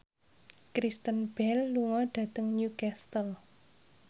Kristen Bell lunga dhateng Newcastle